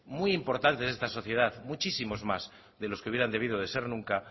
muy importantes de esta sociedad muchísimos más de los que hubieran debido de ser nunca